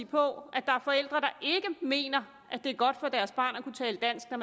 på at der er forældre der ikke mener at det er godt for deres barn at kunne tale dansk når